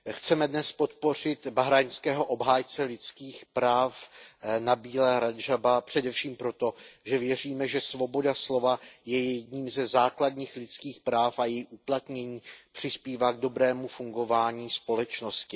Pane předsedající, chceme dnes podpořit bahrajnského obhájce lidských práv Nabíla Radžába především proto, že věříme, že svoboda slova je jedním ze základních lidských práv a její uplatnění přispívá k dobrému fungování společnosti.